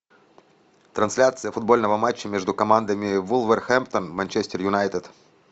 трансляция футбольного матча между командами вулверхэмптон манчестер юнайтед